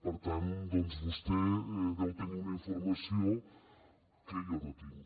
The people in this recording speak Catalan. per tant doncs vostè deu tenir una informació que jo no tinc